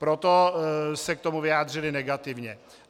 Proto se k tomu vyjádřili negativně.